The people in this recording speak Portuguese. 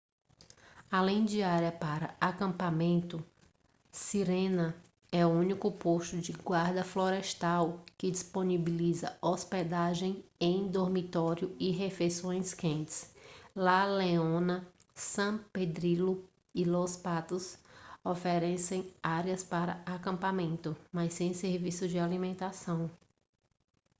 além de área para acampamento sirena é o único posto da guarda-florestal que disponibiliza hospedagem em dormitório e refeições quentes la leona san pedrillo e los patos oferecem área para acampamento mas sem serviço de alimentação